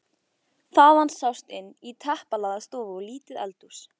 Þaðan sást inn í teppalagða stofu og lítið eldhús.